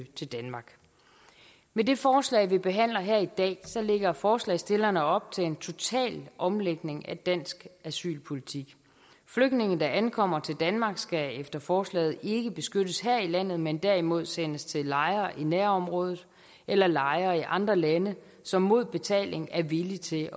til danmark med det forslag vi behandler her i dag lægger forslagsstillerne op til en total omlægning af dansk asylpolitik flygtninge der ankommer til danmark skal efter forslaget ikke beskyttes her i landet men derimod sendes til lejre i nærområdet eller lejre i andre lande som mod betaling er villige til